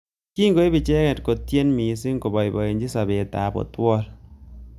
Kingoib icheket kotyen missing koboiboji sabet ab othuol.